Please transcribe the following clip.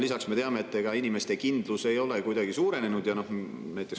Lisaks me teame, et ega inimeste kindlus ei ole kuidagi suurenenud.